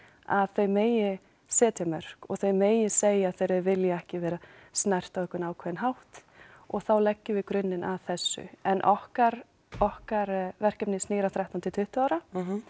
að þau megi setja mörk og þau megi segja þegar þau vilja ekki vera snert á einhvern ákveðinn hátt og þá leggjum við grunninn að þessu en okkar okkar verkefni snýr að þrettán til tuttugu ára